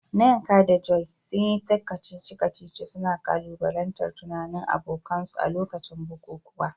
Nneka da Joy, sun yi ta kacici-kacici, suna ƙalubalantar tunanin abokansu a lokacin bukukuwa.